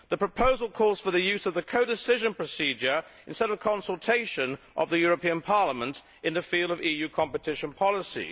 The proposal calls for the use of the codecision procedure, instead of consultation of Parliament, in the field of EU competition policy.